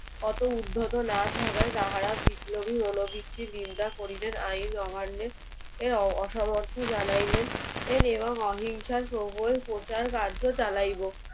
অত উদ্ধত না থাকায় তাহারা বিপ্লবী মনোবৃত্তির নিন্দা করিলেন আইন অমান্যের অ~ অসমর্থ জানাইলেন এর এবং অহিংসার প্রবল প্রচার কার্য চালাইবো